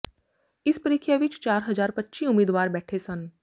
ਇਸ ਪ੍ਰੀਖਿਆ ਵਿੱਚ ਚਾਰ ਹਜਾਰ ਪੱਚੀ ਉਮੀਦਵਾਰ ਬੈਠੇ ਸਨ